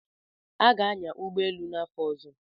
Aga-anya ụgbọ elu n'afọ ọzọ.